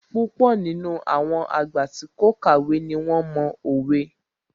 Púpọ̀ nínú àwọn àgbà tí kò kàwé ní wón mo òwe